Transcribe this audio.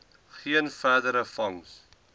geen verdere vangs